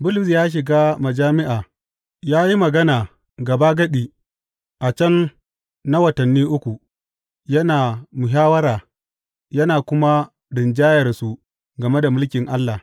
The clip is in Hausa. Bulus ya shiga majami’a ya yi magana gabagadi a can na watanni uku, yana muhawwara yana kuma rinjayarsu game da mulkin Allah.